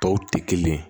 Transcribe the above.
Tɔw tɛ kelen ye